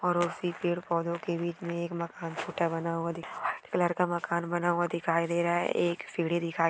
और उसी पेड पौधों के बीच मे एक मकान छोटा बना हुआ दिखाई व्हाईट कलर का मकान बना हुआ दिखाई दे रहा है एक सीडी दिखाई--